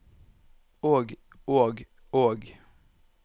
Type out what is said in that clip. og og og